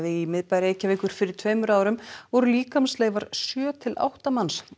í miðbæ Reykjavíkur fyrir tveimur árum voru líkamsleifar sjö til átta manns